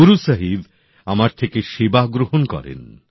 গুরু সাহিব আমার থেকে সেবা গ্রহণ করেন